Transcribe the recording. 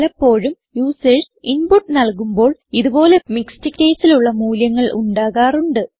പലപ്പോഴും users input നൽകുമ്പോൾ ഇത് പോലെ മിക്സ്ഡ് caseലുള്ള മൂല്യങ്ങൾ ഉണ്ടാകാറുണ്ട്